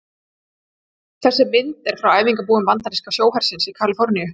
Þessi mynd er frá æfingabúðum bandaríska sjóhersins í Kaliforníu.